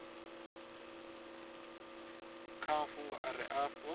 kha mafhungo a re afho